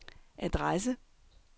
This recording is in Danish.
adresse